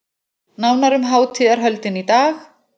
Nánar um hátíðarhöldin í dag